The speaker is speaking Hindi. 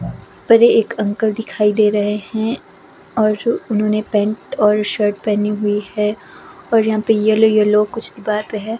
परे एक अंकल दिखाई दे रहे हैं और जो उन्होंने पेंट और शर्ट पहनी हुई है और यहां पे येलो येलो कुछ दीवार पे है।